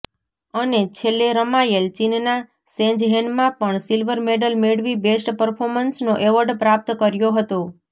અને છેલ્લે રમાયેલ ચીનના શેન્ઝહેનમાં પણ સિલ્વર મેડલ મેળવી બેસ્ટ પરફોર્મન્સનો એવોર્ડ પ્રાપ્ત કર્યો હતો